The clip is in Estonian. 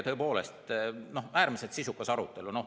Tõepoolest, äärmiselt sisukas arutelu.